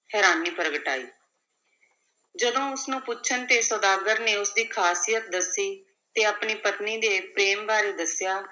ਹੈਰਾਨੀ ਪ੍ਰਗਟਾਈ ਜਦੋਂ ਉਸ ਨੂੰ ਪੁੱਛਣ ਤੇ ਸੁਦਾਗਰ ਨੇ ਉਸ ਦੀ ਖ਼ਾਸੀਅਤ ਦੱਸੀ ਤੇ ਆਪਣੀ ਪਤਨੀ ਦੇ ਪ੍ਰੇਮ ਬਾਰੇ ਦੱਸਿਆ,